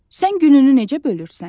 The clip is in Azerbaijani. Sən gününü necə bölürsən?